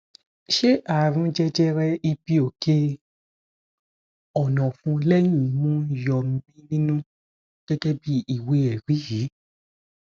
ṣé àrùn jẹjẹrẹ ibi oke onofun lehin imu ń yọ mí nínú gegebi iwe eri yi